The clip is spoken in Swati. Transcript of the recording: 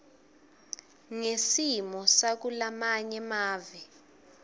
ngesimo sakulamanye mave